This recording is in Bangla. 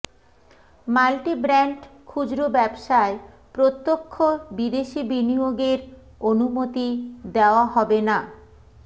মাল্টিব্র্যান্ড খুচরো ব্যবসায় প্রত্যক্ষ বিদেশি বিনিয়োগের অনুমতি দেওয়া হবে না